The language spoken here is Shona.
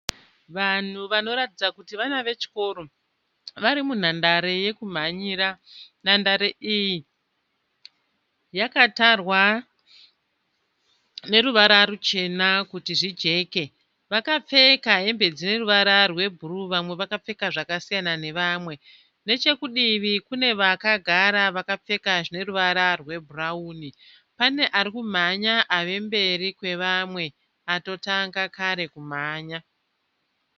Vanhu vanoratidza kuti vana vechikoro vari munhandare yekumhanyira. Nhandare iyi yakatarwa neruvara ruchena kuti zvijeke. Vakapfeka hembe dzeruvara rwebhuruu vamwe vakapfeka zvakasiyana nevamwe. Nechekudivi kune vakagara vakapfeka zvine ruvara rwebhurawuni. Pane ari kumhanya ave mberi kwevamwe atotanga kare kumhanya.